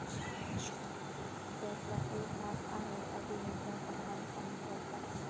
त्यातला एक हात आहे अभिनेता सलमान खान याचा.